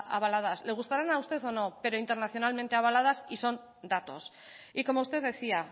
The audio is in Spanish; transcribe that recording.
avaladas le gustaran a usted o no pero internacionalmente avaladas y son datos y como usted decía